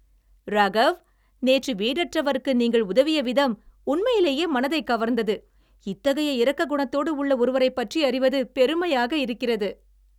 ராகவ், நேற்று வீடற்றவருக்கு நீங்கள் உதவிய விதம் உண்மையிலேயே மனதைக் கவர்ந்தது. இத்தகைய இரக்க குணத்தோடு உள்ள ஒருவரைப் பற்றி அறிவது பெருமையாக இருக்கிறது.